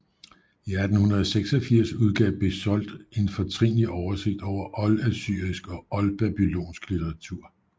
I 1886 udgav Bezold en fortrinlig oversigt over oldassyrisk og oldbabylonsk litteratur